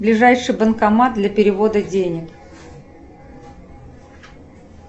ближайший банкомат для перевода денег